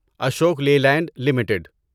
Ashok Leyland limited